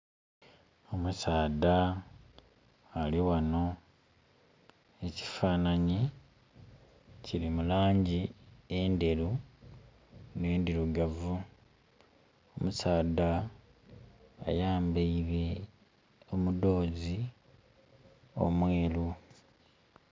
Omusaadha alighano, ekifananye kili mu langi endhirugavu ne ndheru. Omusadha ayambaire omudhozi omweru.